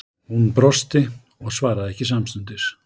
Hún brosti og svaraði ekki samstundis.